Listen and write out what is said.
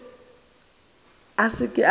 mme a se ke a